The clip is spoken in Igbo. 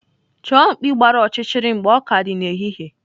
Chọọ mkpi gbara ọchịchịrị mgbe ọ ka dị n'ehihie.